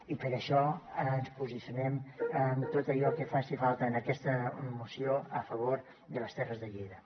i per això ens posicionen en tot allò que faci falta en aquesta moció a favor de les terres de lleida